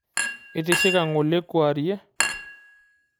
Itishika ngole kuarie